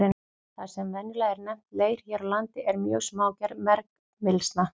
Það sem venjulega er nefnt leir hér á landi er mjög smágerð bergmylsna.